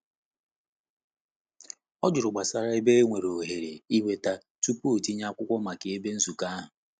O jụrụ gbasara ebe nwere ohere ịnweta tupu o tinye akwụkwo maka ebe nzukọ ahụ.